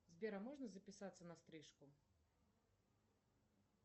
сбер а можно записаться на стрижку